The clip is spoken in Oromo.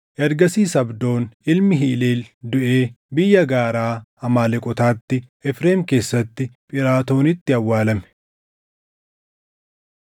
Ergasiis Abdoon ilmi Hileel duʼee biyya gaaraa Amaaleqootaatti Efreem keessatti Phiraatoonitti awwaalame.